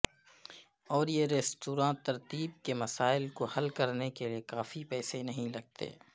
اور یہ ریستوراں ترتیب کے مسائل کو حل کرنے کے لئے کافی پیسے نہیں لگتے